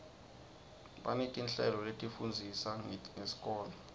banetinhlelo letifundzisa ngesikolo